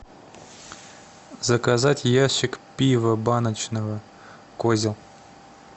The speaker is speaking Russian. заказать ящик пива баночного козел